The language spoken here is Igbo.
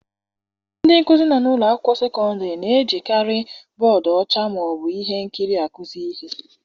Ndị nkuzi nọ n'ụlọ akwụkwọ sekọndịrị na-ejikarị bọọdụ ọcha ma ọ bụ ihe nkiri akụzi ihe.